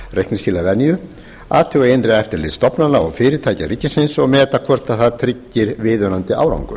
reikningsskilavenju athuga innra eftirlit stofnana og fyrirtækja ríkisins og meta hvort það tryggir viðunandi árangur